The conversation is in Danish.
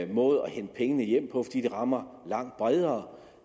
måde at hente pengene hjem på fordi det rammer langt bredere